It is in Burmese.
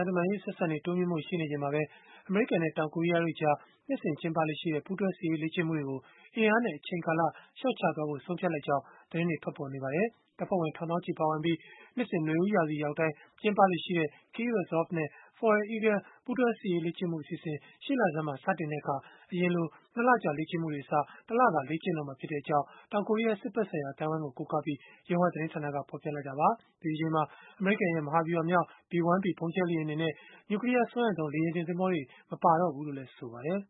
န်ရေး အဆက်အဆံတွေ တိုးမြှင့်ဖို့ ရှိနေချိန်မှာပဲ အမေရိကန်နဲ့ တောင်ကိုရီးယားတို့ကြား နှစ်စဉ် ကျင်းပလေ့ရှိတဲ့ ပူးတွဲစစ်ရေး လေ့ကျင့်မှုတွေကို အင်အားနဲ့ အချိန်ကာလ လျှော့ချသွားဖို့ ဆုံးဖြတ်လိုက်ကြောင်း သတင်းတွေ ထွက်ပေါ်လာပါတယ်။ တပ်ဖွဲ့ဝင် ထောင်သောင်းချီ ပါဝင်ပြီး၊ နှစ်စဉ်နွေဦးရာသီရောက်တိုင်း ကျင်းပလေ့ရှိတဲ့ Key Resolve နဲ့ Foal Eagle ပူးတွဲစစ်ရေး လေ့ကျင့်မှု အစီအစဉ် ရှေ့လဆန်းမှာ စတင်တဲ့အခါ အရင်ကလို ၂ လကြာ လေ့ကျင့်မှုတွေအစား၊ တလသာ လေ့ကျင့်တော့မှာ ဖြစ်တဲ့အကြောင်း တောင်ကိုရီးယား စစ်ဘက်ဆိုင်ရာ အသိုင်းအဝန်းကို ကိုးကားပြီး Yonhap သတင်းဌာနက ဖော်ပြလိုက်တာပါ။ ဒီတကြိမ်မှာ အမေရိကန်ရဲ့မဟာဗျုဟာမြောက် B-1B ဗုံးကြဲလေယာဉ်တွေနဲ့ နျူကလီးယား စွမ်းအင်သုံး လေယာဉ်တင် သင်္ဘောတွေ မပါတော့ဘူးလို့လည်း ဆိုပါတယ်